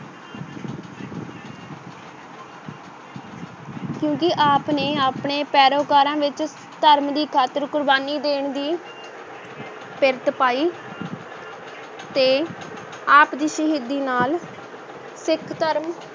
ਕਿਉਂਕਿ ਆਪ ਨੇ ਆਪਣੇ ਪੈਰੋਕਾਰਾਂ ਵਿੱਚ ਧਰਮ ਦੀ ਖਾਤਰ ਕੁਰਬਾਨੀ ਦੇਣ ਦੀ ਪਿਰਤ ਪਾਈ ਤੇ ਆਪ ਦੀ ਸ਼ਹੀਦੀ ਨਾਲ ਸਿੱਖ ਧਰਮ